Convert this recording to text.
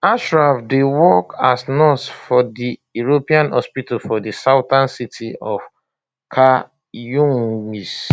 ashraf dey work as nurse for di european hospital for di southern city of khan younis